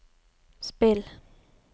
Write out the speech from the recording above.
spill